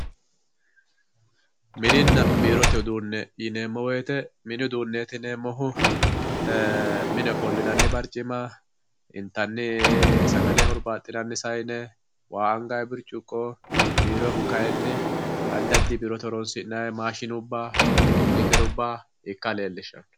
mininna biirote uduunne yineemmo woyte mini uduunne yineemmohu mine ofollinanni barccima intanni sagale hurbaaxxinanni sayine waa angay bircciqqo biiroyhu kayi addi addiyi biirote horoonsi'nayi maashshinubba computerubba ikka leellishshawo